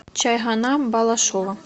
чайхана балашова